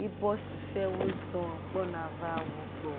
yibɔ susuɔwo zɔ̃ gbɔna va wo gbɔ.